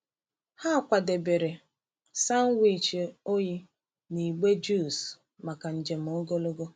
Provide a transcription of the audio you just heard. Ha kwadebere sanwichi oyi na igbe juice maka njem ogologo.